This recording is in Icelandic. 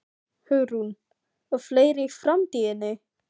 Hugrún: Og fleiri í framtíðinni?